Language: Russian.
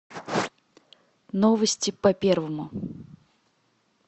новости по первому